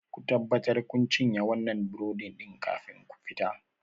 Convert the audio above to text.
Ku tabbatar kun cinye wannan burodin kafin ku fita!